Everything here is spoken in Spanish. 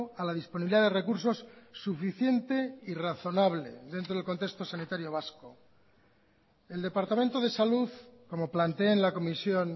a la disponibilidad de recursos suficiente y razonable dentro del contexto sanitario vasco el departamento de salud como planteé en la comisión